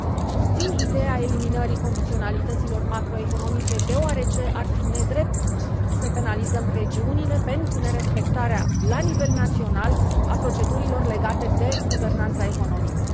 Susțin ideea eliminării condiționalităților macroeconomice deoarece ar fi nedrept să penalizăm regiunile pentru nerespectarea la nivel național a procedurilor legate de guvernanța economică.